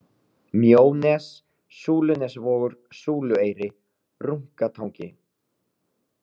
Mjónes, Súlunesvogur, Súlueyri, Runkatangi